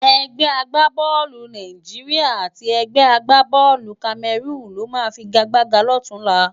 Ègbè àgbábòlú Nàijiriá àti ègbè àgbábòlú Kámèrún ló má figágbágá lòtúnlá